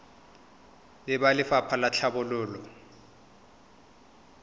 le ba lefapha la tlhabololo